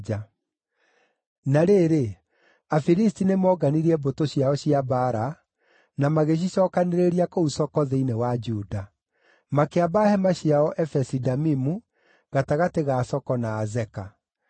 Na rĩrĩ, Afilisti nĩmoonganirie mbũtũ ciao cia mbaara, na magĩcicookanĩrĩria kũu Soko thĩinĩ wa Juda. Makĩamba hema ciao Efesi-Damimu, gatagatĩ ga Soko na Azeka.